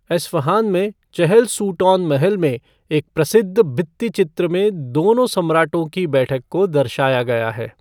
Isfahan में Chehel Sotoun महल में एक प्रसिद्ध भित्ति चित्र में दोनों सम्राटों की बैठक को दर्शाया गया है।